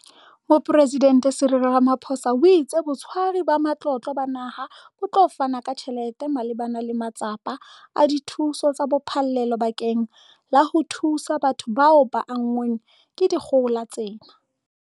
Mopresidente Cyril Ramaphosa o itse Botshwari ba Matlotlo ba Naha bo tla fana ka tjhelete malebana le matsapa a dithuso tsa phallelo bakeng la ho thusa batho bao ba anngweng ke dikgohola tsena.